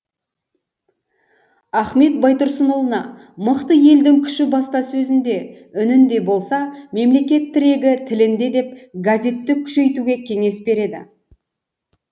ахмет байтұрсынұлына мықты елдің күші баспасөзінде үнінде болса мемлекет тірегі тілінде деп газетті күшейтуге кеңес береді